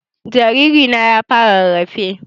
Jariri na ya fara rarrafe